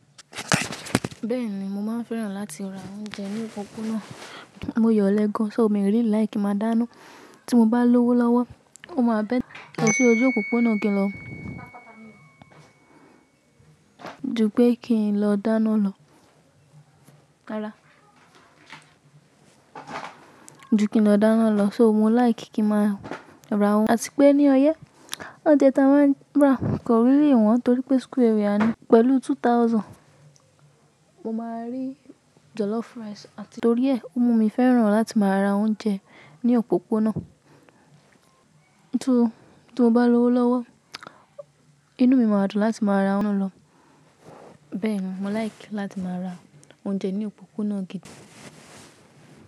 Bẹ́ẹ̀ni, mo máa ń fẹ́ràn láti ra oúnjẹ ní òpópónà. Mo yan ọ́lẹ́ gan, ṣò ó mi really like ki máa dáná. Tí mo bá lówó lọ́wọ́, ó máa better kin lo sí ojú òpópónà kì í lọ, ju pẹ́ kí n lọ dáná lọ. Rárá, ju pẹ́ kí n lọ dáná lọ. So mo like kí ma ra wọ́n, àti pé ní ọyẹ́ oúnjẹ tí a máa ń rà kò rí lè wọ́n torí pé school area ni pẹ̀lú two thousand. Mo máa rí jollof rice àti torí ẹ, ó mu mí fẹ́ràn láti máa ra oúnjẹ ní òpópónà. Tí, tí mo bá lówó lọ́wọ́, inú mi máa dùn láti máa ra won lọ. Bẹ́ẹ̀ni, mo like láti máa ra oúnjẹ ní òpópónà gidi.